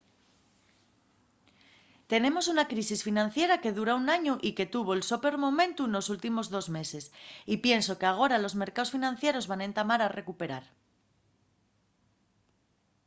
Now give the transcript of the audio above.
tenemos una crisis financiera que dura un añu y que tuvo’l so peor momentu nos últimos dos meses y pienso qu’agora los mercaos financieros van entamar a recuperar.